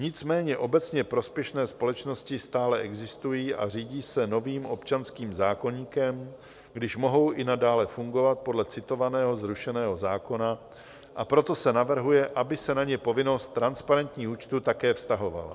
Nicméně obecně prospěšné společnosti stále existují a řídí se novým občanským zákoníkem, když mohou i nadále fungovat podle citovaného zrušeného zákona, a proto se navrhuje, aby se na ně povinnost transparentních účtů také vztahovala.